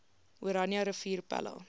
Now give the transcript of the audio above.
oranje rivier pella